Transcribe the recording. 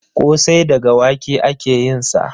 Ƙosai daga wake ake yin sa